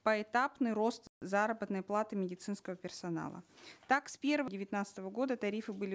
поэтапный рост заработной платы медицинского персонала так с девятнадцатого года тарифы были